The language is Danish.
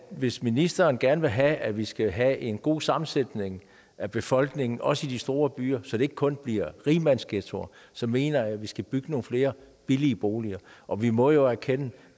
hvis ministeren gerne vil have at vi skal have en god sammensætning af befolkningen også i de store byer så det ikke kun bliver rigmandsghettoer så mener jeg at vi skal bygge nogle flere billige boliger og vi må jo erkende